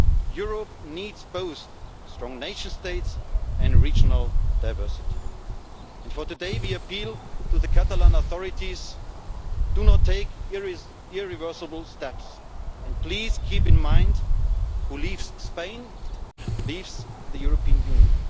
Europe needs both strong nation states and regional diversity. For today we appeal to the Catalan authorities do not take irreversible steps and please keep in mind that whoever leaves Spain, leaves the European Union.